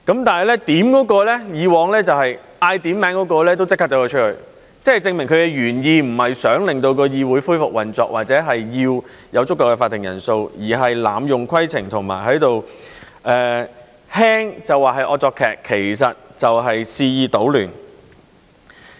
但是，以往提出點算人數的人卻立即離開，這證明其原意並非想令議會恢復運作或者有足夠的法定人數，而是濫用規程，輕的話就是惡作劇，其實就是肆意搗亂。